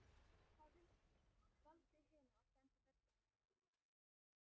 Hann valdi hina og sendi þær burt.